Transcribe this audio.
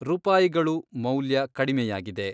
ರೂಪಾಯಿಗಳು ಮೌಲ್ಯ ಕಡಿಮೆಯಾಗಿದೆ